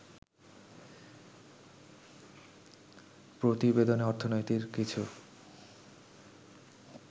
প্রতিবেদনে অর্থনীতির কিছু